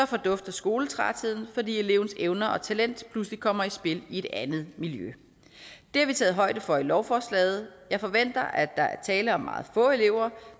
fordufter skoletrætheden fordi elevens evner og talent pludselig kommer i spil i et andet miljø det har vi taget højde for i lovforslaget jeg forventer at der er tale om meget få elever